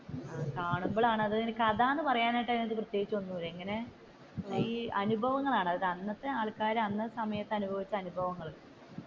കാണുമ്പോഴാണ് കഥ എന്ന് പറയാനായിട്ട് പ്രത്യേകിച്ച് ഒന്നുമില്ല ഇങ്ങനെ ഈ അനുഭവങ്ങളാണ്, അന്നത്തെ ആൾക്കാർ അന്നത്തെ സമയത്തു അനുഭവിച്ച അനുഭവങ്ങൾ